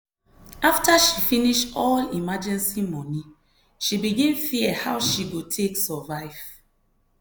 after she finish all emergency money she begin fear how she go take survive.